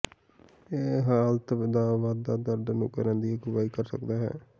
ਇਹ ਹਾਲਤ ਦਾ ਵਾਧਾ ਦਰਦ ਨੂੰ ਕਰਨ ਦੀ ਅਗਵਾਈ ਕਰ ਸਕਦਾ ਹੈ